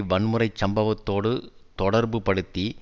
வன்முறை சம்பவத்தோடு தொடர்பு படுத்தி